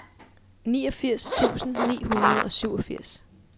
niogfirs tusind ni hundrede og syvogfirs